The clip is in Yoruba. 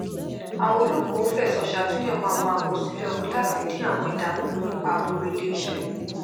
àwọn olókòwò fẹsọ sàtúnyẹwò àwọn àkọsílẹ owó latí dín àwọn ìdàmún kù nípa aburú iléisẹ